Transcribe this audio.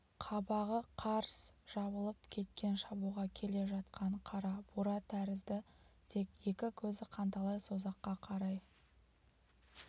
қабағы қарс жабылып кеткен шабуға келе жатқан қара бура тәрізді тек екі көзі қанталай созаққа қарай